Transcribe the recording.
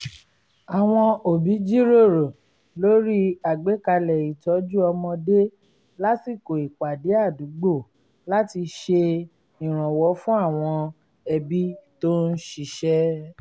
àwọn òbí jíròrò lórí àgbékalẹ̀ itọju ọmọdé lásìkò ìpàdé àdúgbò láti ṣe ìrànwọ́ fún àwọn ẹbí tó ń ṣiṣẹ́